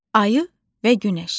Ayı və Günəş.